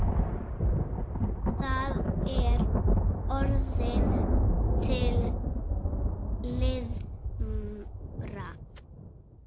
Það er orðin til limra!